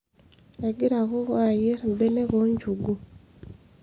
egira kokoo ayierr imbenek oo nchugu